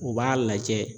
U b'a lajɛ